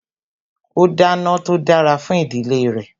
ó dáná tó dára fún ìdílé re